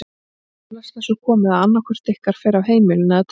Og eflaust er svo komið að annað hvort ykkar fer af heimilinu- eða telpan.